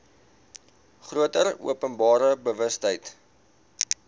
groter openbare bewustheid